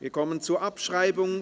Wir kommen zur Abschreibung.